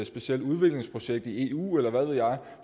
specielt udviklingsprojekt i eu eller hvad ved jeg